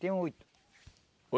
Tenho oito.